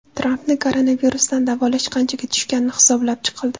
Trampni koronavirusdan davolash qanchaga tushgani hisoblab chiqildi.